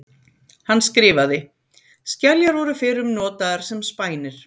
Hann skrifaði: Skeljar voru fyrrum notaðar sem spænir.